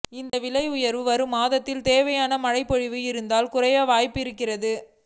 இந்த விலை உயர்வு வரும் மாதங்களில் தேவையான மழைப்பொழிவு இருந்தால் குறைய வாய்ப்பு இருக்கிறது